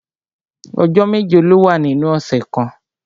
Ọjọ́ méje ló wà nínú ọ̀sẹ̀ kan